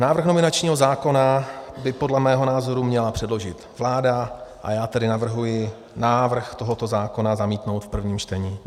Návrh nominačního zákona by podle mého názoru měla předložit vláda, a já tedy navrhuji návrh tohoto zákona zamítnout v prvním čtení.